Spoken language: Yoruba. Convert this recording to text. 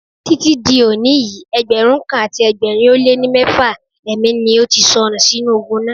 Títí di òní yìí, Ẹgbẹ̀rún kan àti ẹgbẹ̀rin ó lé ní mẹ́fà ẹ̀mí ni ó ti sọnù sínú ogun náà.